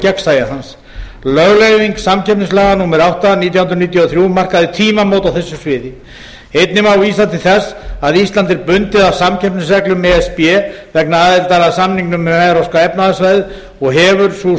gegnsæi hans lögleiðing samkeppnislaga númer átta nítján hundruð níutíu og þrjú markaði tímamót á þessu sviði einnig má vísa til þess að ísland er bundið af samkeppnisreglum e s b vegna aðildar að samningnum um evrópska efnahagssvæðið og hefur sú